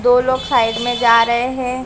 दो लोग साइड में जा रहे हैं।